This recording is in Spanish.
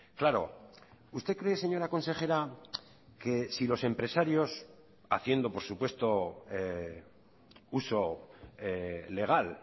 claro usted cree señora consejera que si los empresarios haciendo por supuesto uso legal